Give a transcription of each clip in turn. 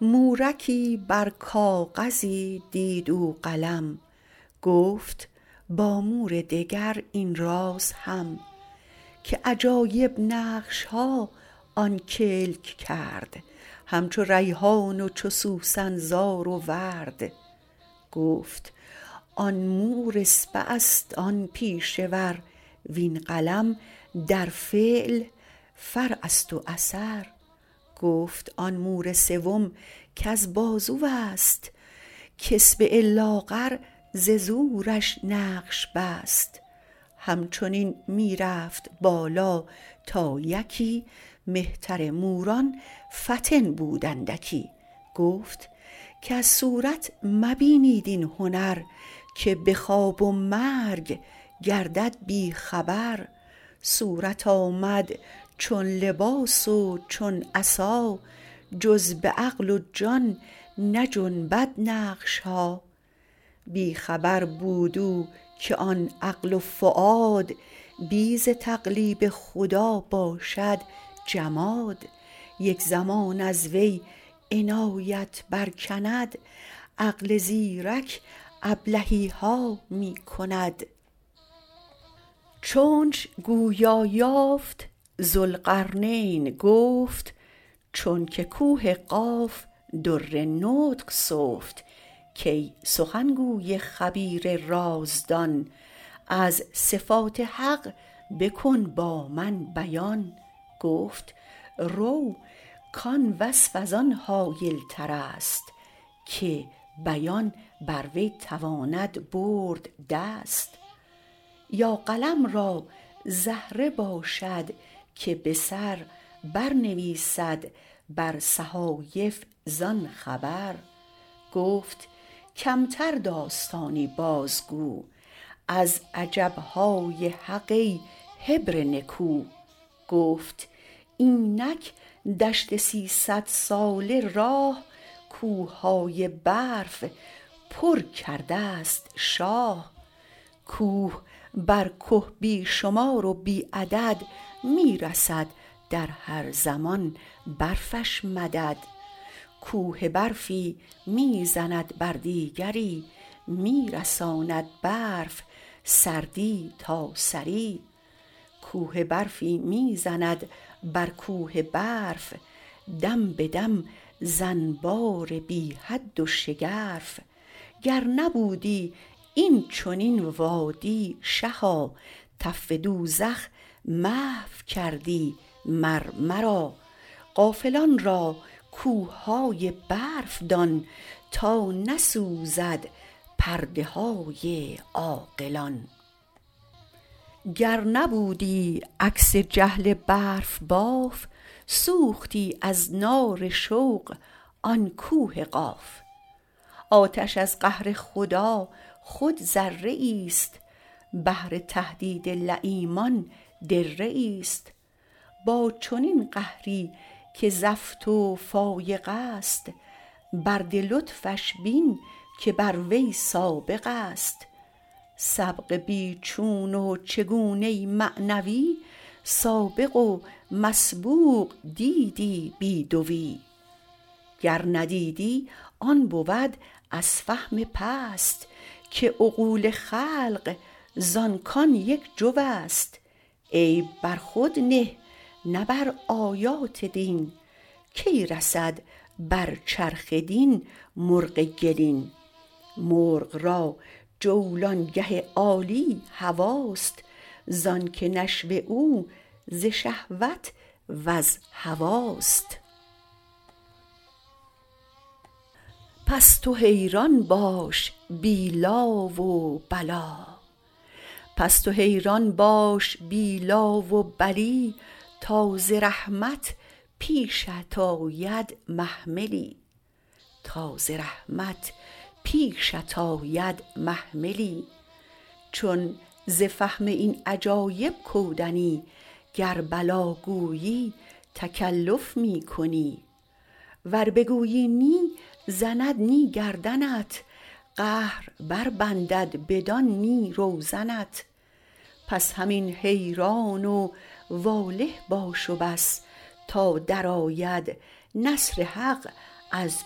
مورکی بر کاغذی دید او قلم گفت با مور دگر این راز هم که عجایب نقشها آن کلک کرد هم چو ریحان و چو سوسن زار و ورد گفت آن مور اصبعست آن پیشه ور وین قلم در فعل فرعست و اثر گفت آن مور سوم کز بازوست که اصبع لاغر ز زورش نقش بست هم چنین می رفت بالا تا یکی مهتر موران فطن بود اندکی گفت کز صورت مبینید این هنر که به خواب و مرگ گردد بی خبر صورت آمد چون لباس و چون عصا جز به عقل و جان نجنبد نقشها بی خبر بود او که آن عقل وفاد بی ز تقلیب خدا باشد جماد یک زمان از وی عنایت بر کند عقل زیرک ابلهیها می کند چونش گویا یافت ذوالقرنین گفت چونک کوه قاف در نطق سفت کای سخن گوی خبیر رازدان از صفات حق بکن با من بیان گفت رو کان وصف از آن هایل ترست که بیان بر وی تواند برد دست یا قلم را زهره باشد که به سر بر نویسد بر صحایف زان خبر گفت کمتر داستانی باز گو از عجبهای حق ای حبر نکو گفت اینک دشت سیصدساله راه کوههای برف پر کردست شاه کوه بر که بی شمار و بی عدد می رسد در هر زمان برفش مدد کوه برفی می زند بر دیگری می رساند برف سردی تا ثری کوه برفی می زند بر کوه برف دم به دم ز انبار بی حد و شگرف گر نبودی این چنین وادی شها تف دوزخ محو کردی مر مرا غافلان را کوههای برف دان تا نسوزد پرده های عاقلان گر نبودی عکس جهل برف باف سوختی از نار شوق آن کوه قاف آتش از قهر خدا خود ذره ایست بهر تهدید لییمان دره ایست با چنین قهری که زفت و فایق است برد لطفش بین که بر وی سابق است سبق بی چون و چگونه معنوی سابق و مسبوق دیدی بی دوی گر ندیدی آن بود از فهم پست که عقول خلق زان کان یک جوست عیب بر خود نه نه بر آیات دین کی رسد بر چرخ دین مرغ گلین مرغ را جولانگه عالی هواست زانک نشو او ز شهوت وز هواست پس تو حیران باش بی لا و بلی تا ز رحمت پیشت آید محملی چون ز فهم این عجایب کودنی گر بلی گویی تکلف می کنی ور بگویی نی زند نی گردنت قهر بر بندد بدان نی روزنت پس همین حیران و واله باش و بس تا درآید نصر حق از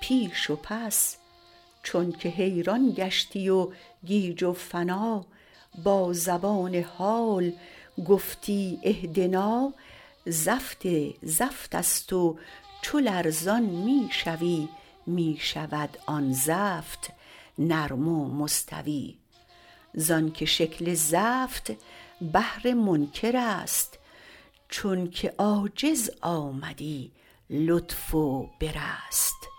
پیش و پس چونک حیران گشتی و گیج و فنا با زبان حال گفتی اهدنا زفت زفتست و چو لرزان می شوی می شود آن زفت نرم و مستوی زانک شکل زفت بهر منکرست چونک عاجز آمدی لطف و برست